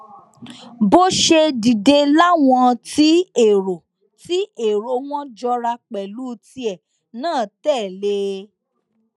bó ṣe dìde làwọn tí èrò tí èrò wọn jọra pẹlú tìẹ náà tẹlé e